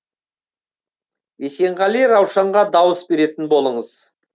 есенғали раушанға дауыс беретін болыңыз